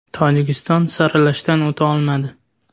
Tojikiston saralashdan o‘ta olmadi.